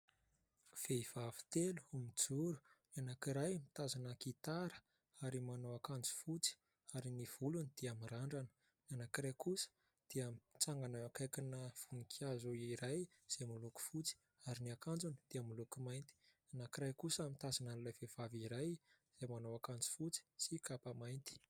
Vehivavy telo ho mijoro : ny anankiray mitazona gitara ary manao akanjo fotsy ary ny volony dia mirandrana, ny anankiray kosa dia mitsangana akaikina voninkazo iray izay miloko fotsy ary ny akanjony dia miloky mainty, ny anankiray kosa mitazona an'ilay vehivavy iray izay manao akanjo fotsy sy kapa mainty.